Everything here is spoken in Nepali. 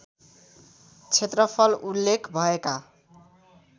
क्षेत्रफल उल्लेख भएका